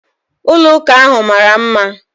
Ụlọ ụka ahu mara mma.